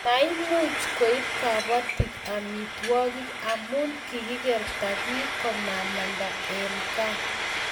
maimuch koib kabotik amitwogik amu kikikerta biik komamanda eng' gaa